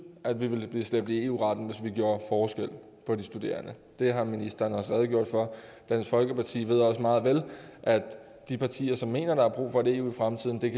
at vi ville blive slæbt i eu retten hvis vi gjorde forskel på de studerende det har ministeren også redegjordt for dansk folkeparti ved også meget vel at de partier der mener der er brug for et eu i fremtiden kan